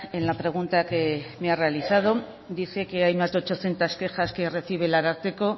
en la pregunta que me ha realizado dice que hay más de ochocientos quejas que recibe el ararteko